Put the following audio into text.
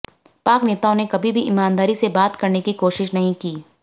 पाक नेताओं ने कभी भी ईमानदारी से बात करने की कोशिश नहीं की